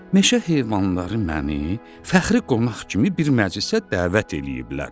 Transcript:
Meşə heyvanları məni fəxri qonaq kimi bir məclisə dəvət eləyiblər.